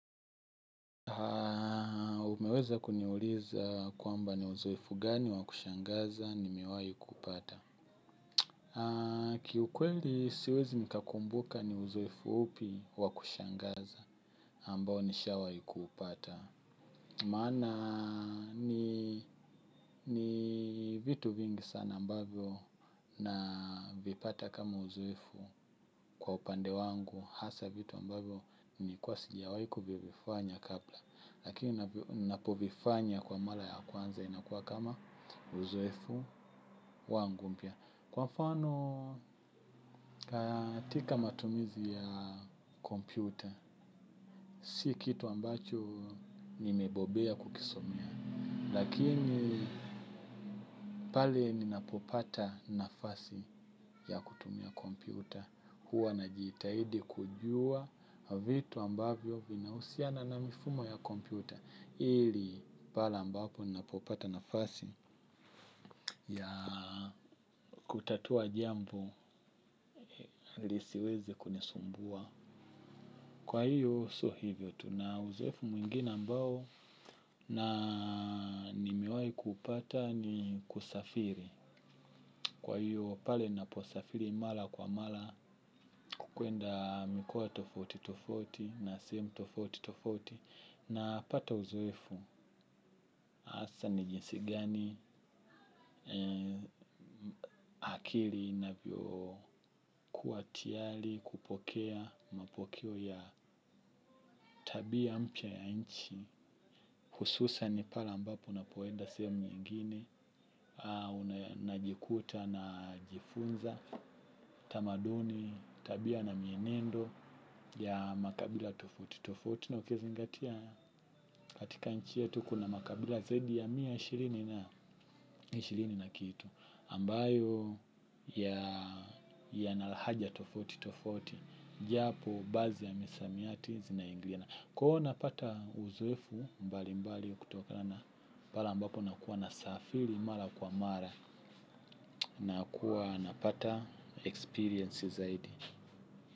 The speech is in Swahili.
Haa, umeweza kuniuliza kwamba ni uzoefu gani wakushangaza nimewai kupata. Haa, kiukweli siwezi nikakumbuka ni uzoefu upi wakushangaza ambao nishawai kuupata. Maana, ni vitu vingi sana ambavyo navipata kama uzoefu kwa upande wangu. Hasa vitu ambavyo nilikuwa sijawai kuvifanya kabla lakini napovifanya kwa mala ya kwanza inakuwa kama uzoefu wangu mpya kwa mfano katika matumizi ya kompyuta si kitu ambacho nimebobea kukisomea lakini pale ninapopata nafasi ya kutumia kompyuta huwa najitaidi kujua vitu ambavyo vinahusiana na mifumo ya kompyuta ili pale ambapo napopata nafasi ya kutatua jambo lisiwezi kunisumbua kwa hiyo sio hivyo tu na uzoefu mwingine ambao na nimewai kupata ni kusafiri kwa hiyo pale naposafiri mala kwa mala kukwenda mikoa tofauti tofauti na sehemu tofauti tofauti. Napata uzoefu, asa ni jinsi gani akili inavyo kuwa tiyali kupokea mapokeo ya tabia mpya ya nchi. Hususan pale ambapo unapoenda sehemu nyingine, najikuta najifunza, tamaduni, tabia na mienendo ya makabila tofauti na ukizingatia katika nchi yetu kuna makabila zaidi ya mia moja na ishirini na kitu ambayo yana lahaja tofauti tofaiuti japo bazi ya misamiati zinaingiliana kwa huo unapata uzoefu mbali mbali kutokana na pale ambapo unakuwa nasafiri mara kwa mara nakuwa napata experience zaidi.